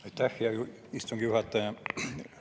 Aitäh, hea istungi juhataja!